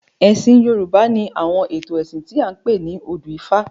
Ẹ̀sìn Yorùbá ni àwọn ètò ẹ̀sìn tí a ń pè ní odù ifá.